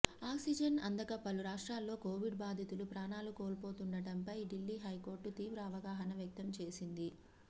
oxygen అందక పలు రాష్ట్రాల్లో కోవిడ్ బాధితులు ప్రాణాలు కోల్పోతుండడంపై ఢిల్లీ హైకోర్టు తీవ్ర అసహనం వ్యక్తం చేసింది